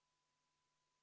Istungi lõpp kell 11.16.